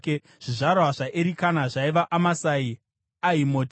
Zvizvarwa zvaErikana zvaiva: Amasai, Ahimoti,